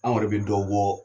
Anw yɛrɛ bɛ dɔ bɔ